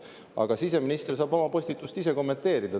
Aga siseminister saab oma postitust ise kommenteerida .